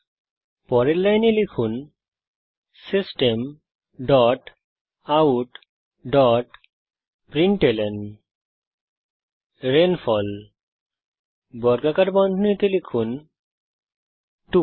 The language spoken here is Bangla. সুতরাং পরের লাইনে লিখুন system dot out dot println rainfall বর্গাকার বন্ধনীতে লিখুন 2